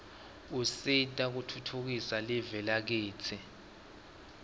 usita kutfutfukisa live lakitsi